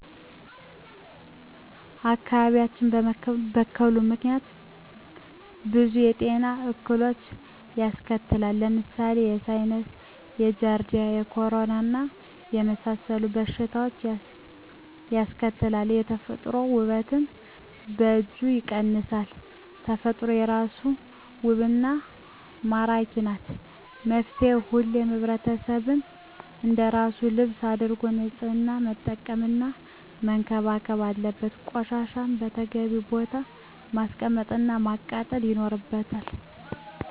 አካባቢያችን በመበከሉ ምክንያት ብዙ የጤና እክሎችን ያስከትላል። ለምሳሌ፦ የሳይነስ፣ የጃረዲያ፣ የኮሌራና የመሣሠሉት በሽታዎችን ያስከትላል። የተፈጥሮ ውበትን በእጅጉ ይቀንሳል። ተፈጥሮ በራሷ ውብና መራኪ ናት። መፍትሔው ሁሉም ሕብረተሰብ አንደራሱ ልብስ አድርጎ ንፅህና መጠበቅና መንከባከብ አለበት። ቆሻሻን በተገቢው ቦታ ማስቀመጥ እና ማቃጠል ይኖርብናል።